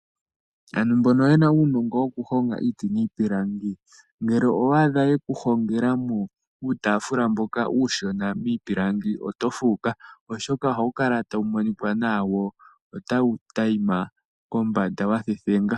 Aantu mbono yena uunongo woku honga iiti niipilangi. Ngele owa adha yeku hongela mo uutaafula mboka uushona miipilangi oto fuuka oshoka ohawu kala tawu monika nawa wo tawu adhima nawa kombanda wa thethengwa.